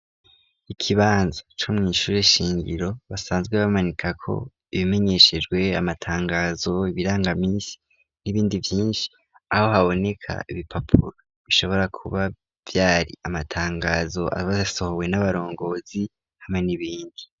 Ikibanza co mw'ishure shingiro basanzwe bamanika ko ibimenyeshejwe amatangazo ibirangamisi n'ibindi byinshi aho haboneka ibipapuro bishobora kuba byari amatangazo absohowe n'abarongozi hamwe n'ibindi.